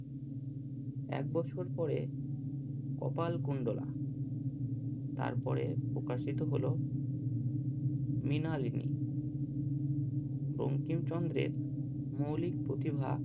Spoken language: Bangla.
এক বছর পরে কপাল কুন্ডলা তারপরে প্রকাশিত হলো মৃণালিনী বঙ্কিমচন্দ্রের মৌলিক প্রতিভা